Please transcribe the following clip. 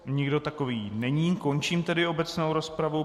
Nikdo takový není, končím tedy obecnou rozpravu.